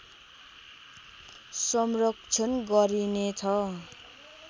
संरक्षण गरिनेछ